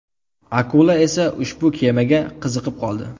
Akula esa ushbu kemaga qiziqib qoldi.